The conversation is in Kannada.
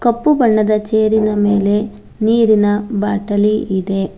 ಕಪ್ಪು ಬಣ್ಣದ ಚೇರಿನ ಮೇಲೆ ನೀರಿನ ಬಾಟಲಿ ಇದೆ.